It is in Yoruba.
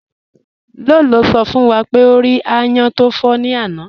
Ló̩ló̩ sọ̀ fún wá pé o rí àyán tí n fọ ní ànà.